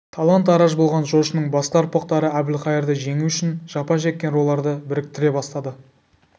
талан-тараж болған жошының басқа ұрпақтары әбілқайырды жеңу үшін жапа шеккен руларды біріктіре бастады